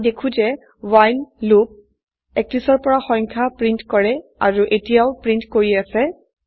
আমি দেখো যে ৱ্হাইল লুপ ৩১ ৰ পৰা সংখ্যা প্ৰিন্ট কৰে আৰু এতিয়াও প্ৰিন্ট কৰিআছে